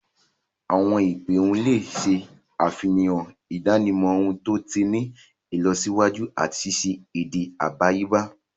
Awọn ipe ohùn le ṣe àfihàn idanimọ ohùn to ti ni ìlọsíwájú ati ṣiṣe èdè àdáyébá.